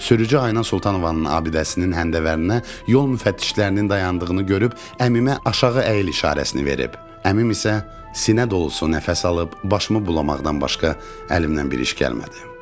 Sürücü Ayna Sultanovanın abidəsinin həndəvərinə yol müfəttişlərinin dayandığını görüb əmimə aşağı əyil işarəsini verib, əmim isə sinə dolusu nəfəs alıb başımı bulamaqdan başqa əlimdən bir iş gəlmədi.